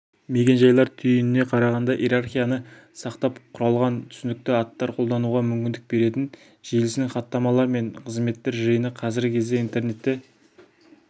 мекен-жайлар түйініне қарағанда иерархияны сақтап құралған түсінікті аттар қолдануға мүмкіндік беретін желісінің хаттамалар мен қызметтер жиыны қазіргі кезде интернетте